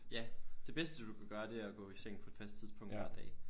Ja det bedste du kan gøre det er at gå i seng på et fast tidspunkt hver dag